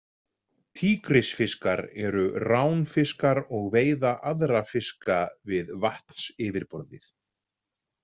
Tígrisfiskar eru ránfiskar og veiða aðra fiska við vatnsyfirborðið.